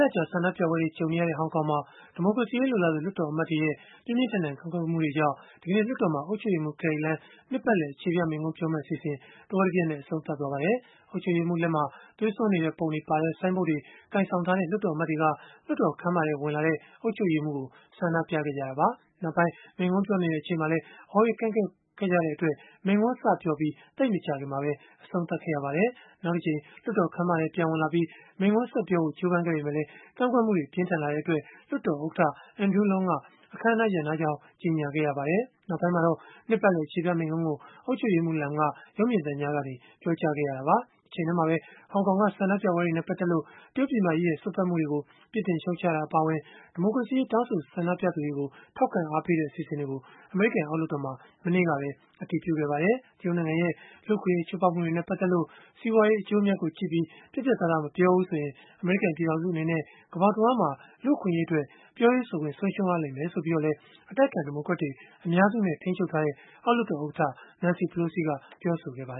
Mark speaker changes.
Speaker 1: လကြာ ဆန္ဒပြပွဲတွေ ကြုံနေရတဲ့ ဟောင်ကောင်မှာ ဒီမိုကရေစီရေး လိုလားသူ လွှတ်တော်အမတ်တွေရဲ့ ပြင်းပြင်းထန်ထန် ကန့်ကွက်မှုတွေကြောင့် လွှတ်တော်မှာ ဒီကနေ့ အုပ်ချုပ်ရေးမှူး Carrie Lam ရဲ့ နှစ်ပတ်လည် အခြေပြ မိန့်ခွန်းကို တဝက်တပျက်နဲ့ အဆုံးသတ်ခဲ့ရပါတယ်။ အုပ်ချုပ်ရေးမှူးလက်မှာ သွေးစွန်းနေတဲ့ပုံတွေပါတဲ့ ဆိုင်းဘုတ်တွေ ကိုင်ဆောင်ပြီး လွှတ်တော်အမတ်တွေက လွှတ်တော်ခန်းမထဲ ဝင်လာတဲ့ အုပ်ချုပ်ရေးမှူးကို ဆန္ဒပြခဲ့ကြတာပါ။ နောက်ပိုင်း မိန့်ခွန်းပြောနေတဲ့ အချိန်မှာလည်း အော်ဟစ်ကန့်ကွက်ခဲ့ကြတဲ့အတွက် မိန့်ခွန်းစပြောပြီး သိပ်မကြာခင်မှာပဲ အဆုံးသတ်ခဲ့ရပါတယ်။ နောက်တကြိမ် လွှတ်တော်ခန်းမထဲ ပြန်ဝင်လာပြီး မိန့်ခွန်းဆက်ပြောဖို့ ကြိုးပမ်းခဲ့ပေမဲ့လည်း ကန့်ကွက်မှုတွေ ပြင်းထန်လာတဲ့အတွက် လွှတ်တော် ဥက္ကဋ္ဌ Andrew Leung က အခန်းအနား ရပ်နားကြောင်း ကြေညာခဲ့ရပါတယ်။ နောက်ပိုင်းမှာတော့ နှစ်ပတ်လည် အခြေပြ မိန့်ခွန်းကို အုပ်ချုပ်ရေးမှူး Lam က ရုပ်မြင်သံကြားကနေ ပြောကြားခဲ့ရတာပါ။ တချိန်တည်းမှာပဲ ဟောင်ကောင်က ဆန္ဒပြပွဲတွေနဲ့ ပတ်သက်လို့ တရုတ်ပြည်မကြီးရဲ့ စွက်ဖက်မှုတွေကို ပြစ်တင်ရှုတ်ချတာ အပါအဝင် ဒီမိုကရေစီရေး တောင်းဆို ဆန္ဒပြသူတွေကို ထောက်ခံအားပေးတဲ့ အစီအစဉ်တွေကို အမေရိကန် အောက်လွှတ်တော်မှာ မနေ့ကပဲ အတည်ပြုခဲ့ပါတယ်။ တရုတ်နိုင်ငံရဲ့ လူ့အခွင့်အရေး ချိုးဖောက်မှုတွေနဲ့ ပတ်သက်လို့ စီးပွားရေး အကျိုးအမြတ်ကိုကြည့်ပြီး ပြတ်ပြတ်သားသား မပြောဘူးဆိုရင် အမေရိကန် ပြည်ထောင်စု အနေနဲ့ ကမ္ဘာတဝန်းမှာ လူ့အခွင့်အရေးအတွက် ပြောရေးဆိုခွင့် ဆုံးရှုံးရလိမ့်မယ် ဆိုပြီးတော့လည်း အတိုက်အခံ ဒီမိုကရက်တွေ အများစုနဲ့ ထိန်းချုပ်ထားတဲ့ အောက်လွှတ်တော် ဥက္ကဋ္ဌ Nancy Pelosi က ပြောဆိုခဲ့တာပါ